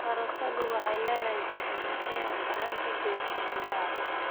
Karootadu waxay leedahay fitamiin A oo gacan ka geysata indhaha.